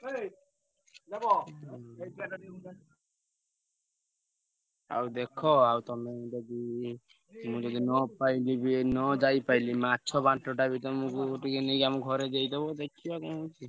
ଆଉ ଦେଖ ଆଉ ତମେ ଯଦି, ମୁଁ ଯଦି ନ ପାଇଲି ବି ନ ଯାଇ ପାଇଲି ମାଛ ବାଣ୍ଟଟା ବି ତମୁକୁ ଟିକେ ନେଇକି ଆମ ଘରେ ଦେଇଦବ ଦେଖିଆ କଣ ହଉଛି।